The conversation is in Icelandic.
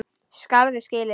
Skarð fyrir skildi